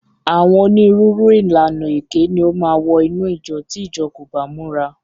Àwọn onírúurú ìlànà èké ni ó máa wọ inú ìjọ tí ìjọ kò bá múra.